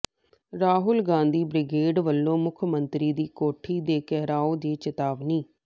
Rahul Gandhi brigade ਵਲੋਂ ਮੁੱਖ ਮੰਤਰੀ ਦੀ ਕੋਠੀ ਦੇ ਘਿਰਾਓ ਦੀ ਚੇਤਾਵਨੀ